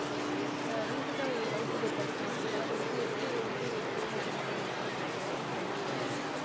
அது, இப்ப recent ஆ love today படம். அந்த படம் வந்துட்டு, எப்படி வந்துட்டு ஒருத்தவங்களை understanding பண்ணிக்கிறது அந்த மாதிரி ஒரு